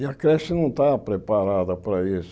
E a creche não estava preparada para isso.